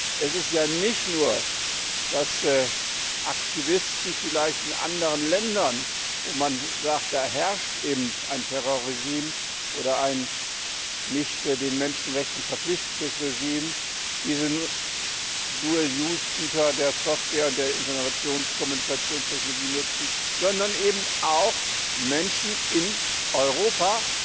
Denn es ist ja nicht nur, dass Aktivisten vielleicht in anderen Ländern, wo man sagt, da herrscht eben ein Terrorregime oder ein nicht den Menschenrechten verpflichtetes Regime, diese Dual use Güter der Software und der Informations und Kommunikationstechnologien nutzen, sondern eben auch Menschen in Europa